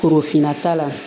Korofinna ta la